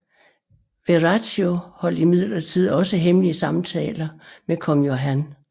Verraccio holdt imidlertid også hemmelige samtaler med Kong Johan